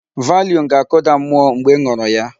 Valium ga-akụda mmụọ mgbe ị ṅụrụ ya.